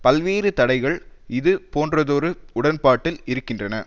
பல்வேறு தடைகள் இது போன்றதொரு உடன்பாட்டில் இருக்கின்றன